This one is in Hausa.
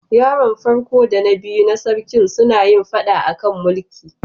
Yaron farko da na biyu na sarkin suna yin fada a kan mulkin.